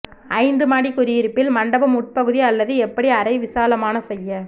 ஐந்து மாடி குடியிருப்பில் மண்டபம் உட்பகுதி அல்லது எப்படி அறை விசாலமான செய்ய